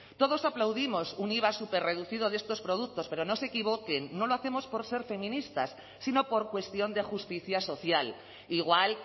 todos aplaudimos un iva superreducido de estos productos pero no se equivoquen no lo hacemos por ser feministas sino por cuestión de justicia social igual